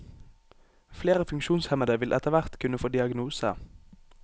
Flere funksjonshemmede vil etterhvert kunne få diagnose.